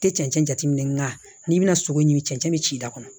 Tɛ cɛncɛn jateminɛ nka n'i bɛna sogo ɲimi cɛncɛn bɛ ci da kɔnɔ